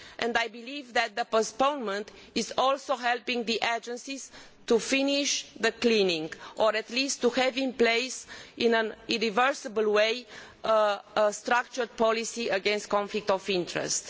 I believe that the postponement will also help the agencies to finish the clearing, or at least to have in place, in an irreversible way, a structured policy against conflicts of interest.